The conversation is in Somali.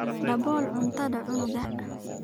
Dabool cuntada canuga.